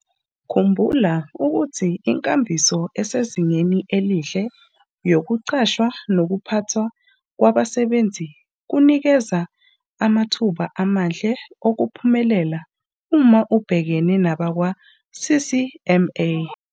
Khumbula ukuthi inkambiso esezingeni elihle yokuqashwa nokuphathwa kwabasebenzi kunikeza amathuba amahle okuphumelela uma ubhekene nabakwa-CCMA.